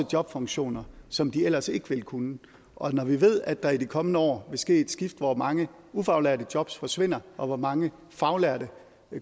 jobfunktioner som de ellers ikke ville kunne og når vi ved at der i de kommende år vil ske et skift hvor mange ufaglærte jobs forsvinder og hvor mange faglærte